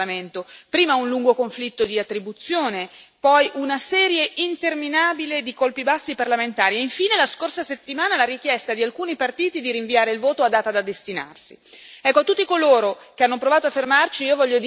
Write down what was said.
Una relazione che è stata osteggiata fin dall'inizio, qui in Parlamento, prima un lungo conflitto di attribuzione, poi una serie interminabile di colpi bassi parlamentari e, infine, la scorsa settimana la richiesta di alcuni partiti di rinviare il voto a data da destinarsi.